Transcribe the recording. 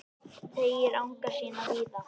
Teygir anga sína víða